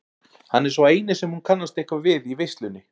Hann er sá eini sem hún kannast eitthvað við í veislunni.